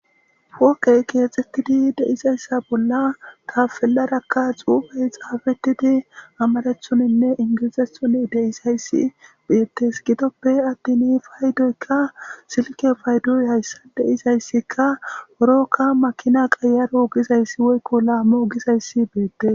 woqey keexxettidi deizayssa bolla tafelarakka xuufey xaafetidi amarethoninne ingilizethoni deisayssi biettes gidoppe addini paydoykka silke faydoy hayssa deizayssikka urokka makina qayaro gizayssi woykko laamo ogizayssi beette